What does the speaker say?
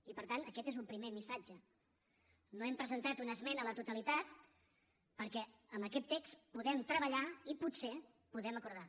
i per tant aquest és un primer missatge no hem presentat una esmena a la totalitat perquè amb aquest text podem treballar i potser podem acordar